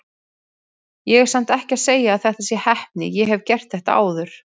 Ég er samt ekki að segja að þetta sé heppni, ég hef gert þetta áður.